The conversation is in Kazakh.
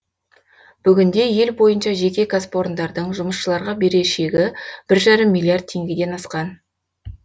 бүгінде ел бойынша жеке кәсіпорындардың жұмысшыларға берешегі бір жарым миллиард теңгеден асқан